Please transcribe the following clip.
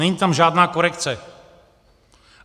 Není tam žádná korekce.